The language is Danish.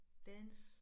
Dans